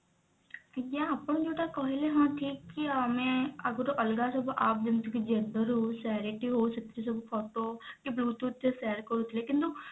ଆଜ୍ଞା ଆପଣ ଯଉଟା କହିଲେ ହଁ ଠିକ କି ଆମେ ଆଗରୁ ଅଲଗା ସବୁ app ଯେମତି କି xender ହଉ share it ହଉ ସେଥିରେ ସବୁ ଫୋଟୋ କି bluetooth ରେ share କରୁଥିଲେ କିନ୍ତୁ